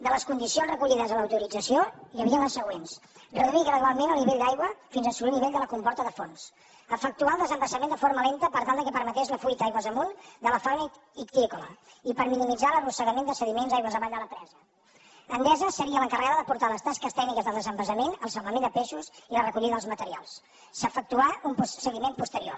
de les condicions recollides a l’autorització hi havia les següents reduir gradualment el nivell d’aigua fins a assolir el nivell de la comporta de fons efectuar el desembassament de forma lenta per tal que permetés la fuita aigües amunt de la fauna ictícola i per minimitzar l’arrossegament de sediments d’aigües avall de la presa endesa seria l’encarregada de portar les tasques tècniques del desembassament el salvament de peixos i la recollida dels materials s’efectuà un seguiment posterior